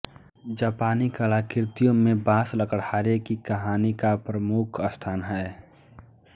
जापानी कलाकृतियों में बाँस लकड़हारे की कहानी का प्रमुख स्थान है